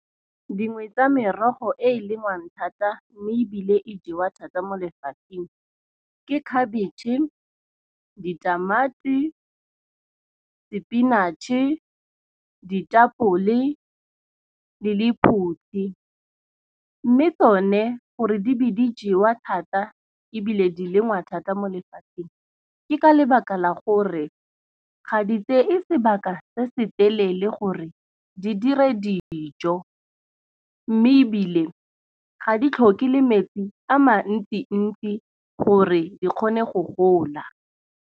Dingwe tsa merogo e lengwang thata. Mme ebile e jewa thata mo lefatsheng ke khabetšhe, ditamati, spinach-e, ditapole le lephutshi. Mme tsone gore di be di jewa thata ebile di lengwa thata mo lefatsheng, ke ka lebaka la gore ga di tse e sebaka se se telele gore di dire dijo. Mme ebile ga di tlhoke le metsi a mantsi-ntsi gore di kgone go gola.